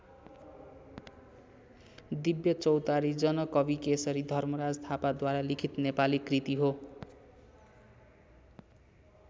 दिव्य चौतारी जनकविकेशरी धर्मराज थापाद्वारा लिखित नेपाली कृति हो।